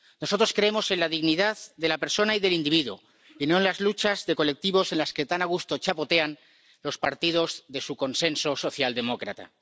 Nosotros creemos en la dignidad de la persona y del individuo y no en las luchas de colectivos en las que tan a gusto chapotean los partidos de su consenso socialdemócrata.